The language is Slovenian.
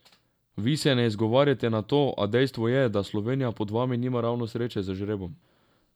Vi se ne izgovarjate na to, a dejstvo je, da Slovenija pod vami nima ravno sreče z žrebom.